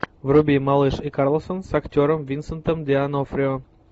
вруби малыш и карлсон с актером винсентом д онофрио